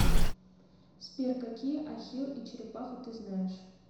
сбер какие ахилл и черепаха ты знаешь